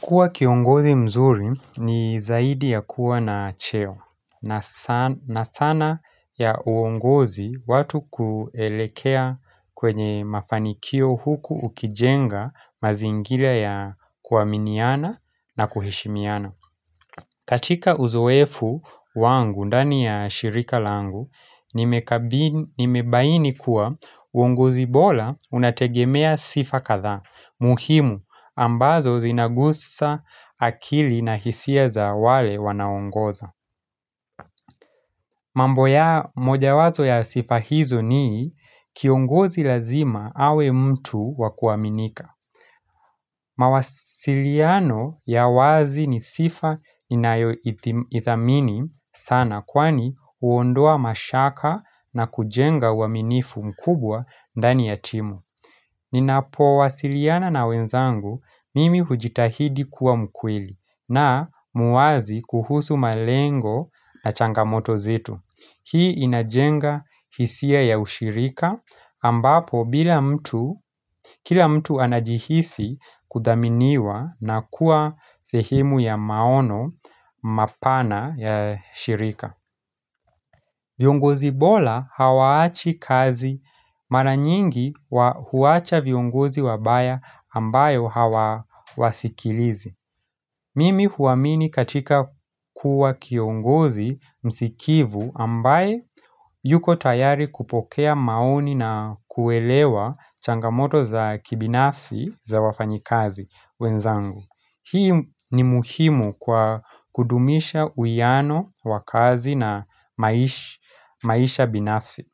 Kuwa kiongozi mzuri ni zaidi ya kuwa na cheo na sanaa ya uongozi watu kuelekea kwenye mafanikio huku ukijenga mazingira ya kuaminiana na kuheshimiana. Katika uzoefu wangu ndani ya shirika langu, nimebaini kuwa uongozi bora unategemea sifa kadhaa, muhimu ambazo zinagusa akili na hisia za wale wanaongoza. Mambo ya, moja wazo ya sifa hizo ni kiongozi lazima awe mtu wakuaminika. Mawasiliano ya wazi ni sifa ninayoithamini sana kwani huondoa mashaka na kujenga uaminifu mkubwa ndani ya timu. Ninapowasiliana na wenzangu mimi hujitahidi kuwa mkweli na muwazi kuhusu malengo na changamoto zetu. Hii inajenga hisia ya ushirika ambapo bila mtu, kila mtu anajihisi kudhaminiwa na kuwa sehemu ya maono mapana ya shirika. Viongozi bora hawaachi kazi, mara nyingi huwacha viongozi wabaya ambayo hawawasikilizi. Mimi huwaamini katika kuwa kiongozi msikivu ambaye yuko tayari kupokea maoni na kuelewa changamoto za kibinafsi za wafanyikazi wenzangu. Hii ni muhimu kwa kudumisha uwiano wa kazi na maisha binafsi.